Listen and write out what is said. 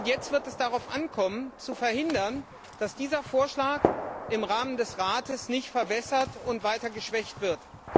Jetzt wird es darauf ankommen zu verhindern, dass dieser Vorschlag im Rahmen des Rates verwässert und weiter geschwächt wird.